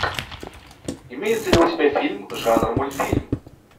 имеется ли у тебя фильм жанр мультфильм